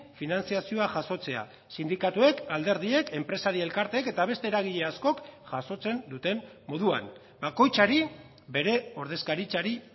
finantzazioa jasotzea sindikatuek alderdiek enpresari elkarteek eta beste eragile askok jasotzen duten moduan bakoitzari bere ordezkaritzari